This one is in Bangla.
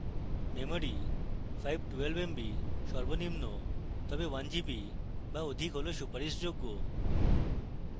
memory: 512 mb সর্বনিম্ন তবে 1gb বা অধিক হল সুপারিশযোগ্য